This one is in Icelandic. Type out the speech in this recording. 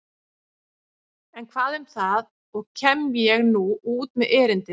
En hvað um það og kem ég nú út með erindið.